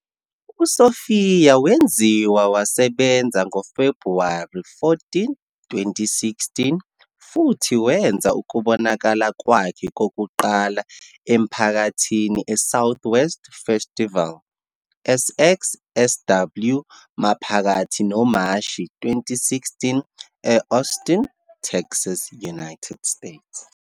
USophia wenziwa wasebenza ngoFebhuwari 14, 2016, futhi wenza ukubonakala kwakhe kokuqala emphakathini eSouthwest Festival, SXSW, maphakathi noMashi 2016 e-Austin, Texas, United States.